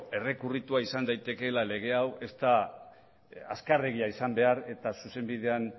errekurritua izan daitekeela lege hau ez da azkarregia izan behar eta zuzenbidean